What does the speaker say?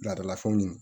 Ladala fɛnw